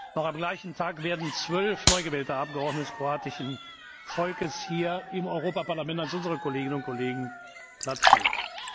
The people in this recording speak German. Noch am gleichen Tag werden zwölf neu gewählte Abgeordnete des kroatischen Volkes hier im Europäischen Parlament als unsere Kolleginnen und Kollegen Platz nehmen.